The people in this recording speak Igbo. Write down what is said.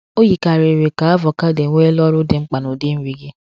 O yikarịrị ka avocado enweela ọrụ dị mkpa n’ụdị nri gị.